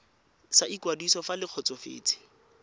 sa ikwadiso fa le kgotsofetse